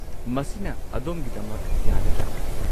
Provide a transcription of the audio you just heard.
ꯃꯁꯤꯅ ꯑꯗꯣꯝꯒꯤꯗꯃꯛ ꯌꯥꯒꯗ꯭ꯔꯥ?